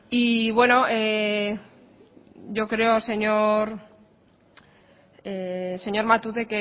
y bueno yo creo señor matute